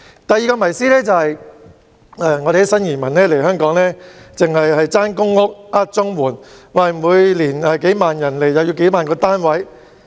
第二個謎思，是新移民來港只會爭公屋、騙綜援，每年有數萬人來港，便需要數萬個公屋單位。